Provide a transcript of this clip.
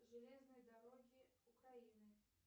железные дороги украины